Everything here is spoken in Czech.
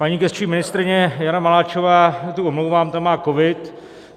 Paní gesční ministryně Jana Maláčová, tu omlouvám, ta má covid.